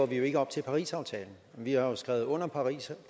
lever op til parisaftalen vi har skrevet under